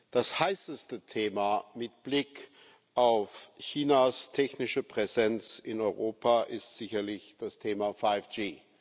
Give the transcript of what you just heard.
Das heißeste Thema mit Blick auf Chinas technische Präsenz in Europa ist sicherlich das Thema 5G.